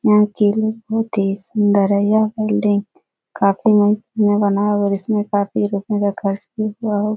यहाँ की लुक बहुत ही सुन्दर है यह बिल्डिंग काफ़ी अमाउंट में बनाया हुआ इसमें काफ़ी रूपए का ख़र्च भी हुआ होगा ।